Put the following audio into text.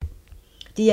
DR1